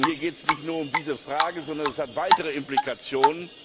Denn hier geht es nicht nur um diese Frage, sondern das hat weitere Implikationen.